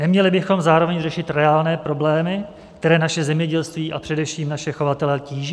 Neměli bychom zároveň řešit reálné problémy, které naše zemědělství a především naše chovatele tíží?